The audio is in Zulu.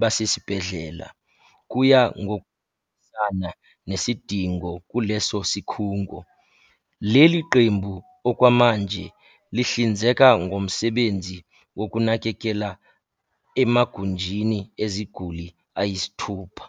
basesibhedlela, kuya ngokuhambisana nesidingo kuleso sikhungo. Leli qembu okwamanje lihlinzeka ngomsebenzi wokunakekela emagunjini eziguli ayisithupha.